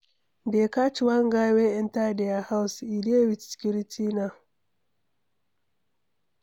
Dey catch one guy wey enter their house. He dey with security now.